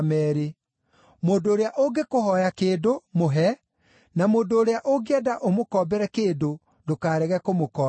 Mũndũ ũrĩa ũngĩkũhooya kĩndũ, mũhe, na mũndũ ũrĩa ũngĩenda ũmũkombere kĩndũ, ndũkarege kũmũkombera.